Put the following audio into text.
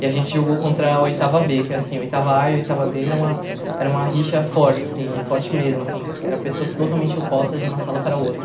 E a gente jogou contra a oitava bê, que era assim, oitava á e oitava bê era uma era uma rixa forte, assim, e forte mesmo, assim, eram pessoas totalmente opostas de uma sala para a outra.